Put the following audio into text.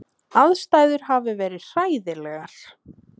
Aðstæður hafi verið hræðilegar